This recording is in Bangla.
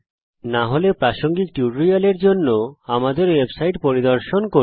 যদি না হয় প্রাসঙ্গিক টিউটোরিয়ালের জন্য আমাদের ওয়েবসাইট পরিদর্শন করুন